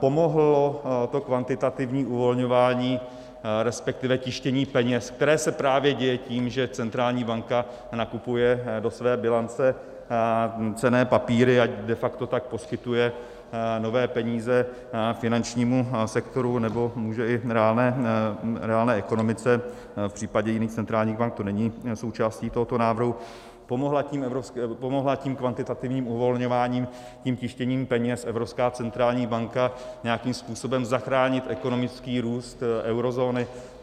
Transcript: Pomohlo to kvantitativní uvolňování, respektive tištění peněz, které se právě děje tím, že centrální banka nakupuje do své bilance cenné papíry a de facto tak poskytuje nové peníze finančnímu sektoru, nebo může i reálné ekonomice, v případě jiných centrálních bank to není součástí tohoto návrhu - pomohla tím kvantitativním uvolňováním, tím tištěním peněz Evropská centrální banka nějakým způsobem zachránit ekonomický růst eurozóny?